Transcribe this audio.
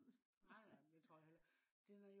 nej nej men det tror jeg jo heller ikke